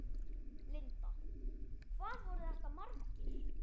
Linda: Hvað voru þetta margir?